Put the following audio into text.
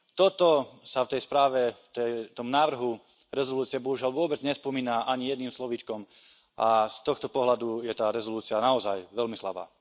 Toto sa v tej správe, v tom návrhu rezolúcie bohužiaľ vôbec nespomína ani jedným slovíčkom a z tohto pohľadu je tá rezolúcia naozaj veľmi slabá.